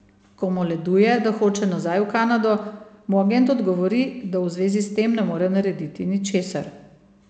Ko moleduje, da hoče nazaj v Kanado, mu agent odgovori, da v zvezi s tem ne more narediti ničesar.